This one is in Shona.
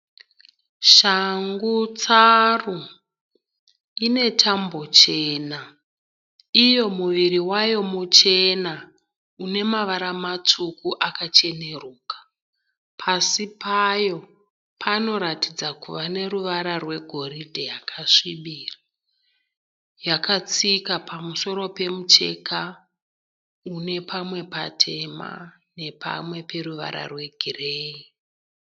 Shangu tsaru ine tambo chena, iyo muviri wayo muchena une mavara matsvuku akacheneruka. Pasi payo panoratidza kuva neruvara rwegoridhe yakasvibira . Yakatsika pamusoro pemucheka une pamwe patema nepamwe peruvara rwegireyi.